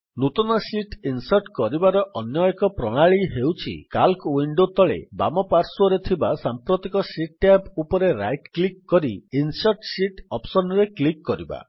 ନୂତନ sheet insert କରିବାର ଅନ୍ୟ ଏକ ପ୍ରଣାଳୀ ହେଉଛି ସିଏଏଲସି ୱିଣ୍ଡୋ ତଳେ ବାମ ପାର୍ଶ୍ୱରେ ଥିବା ସାମ୍ପ୍ରତିକ ଶୀଟ୍ ଟ୍ୟାବ୍ ଉପରେ ରାଇଟ୍ କ୍ଲିକ୍ କରି ଇନସର୍ଟ ଶୀତ୍ ଅପ୍ସନ୍ ରେ କ୍ଲିକ୍ କରିବା